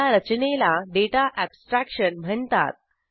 या रचनेला data abstraction म्हणतात